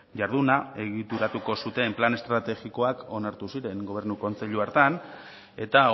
jarduna egituratuko zuten plan estrategikoak onartu ziren gobernu kontseilu hartan eta